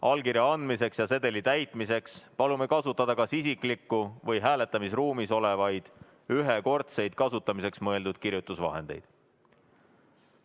Allkirja andmiseks ja sedeli täitmiseks palume kasutada kas isiklikku või hääletamisruumis olevaid ühekordseks kasutamiseks mõeldud kirjutusvahendeid.